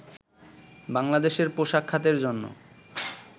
বাংলাদেশের পোশাক খাতের জন্য